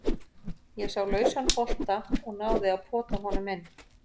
Ég sá lausan bolta og náði að pota honum inn.